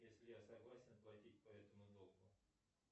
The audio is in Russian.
если я согласен платить по этому долгу